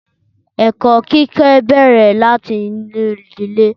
Ẹ̀kọ́ kíkọ́ bẹ́ẹrẹ̀ láti inú ìdílé.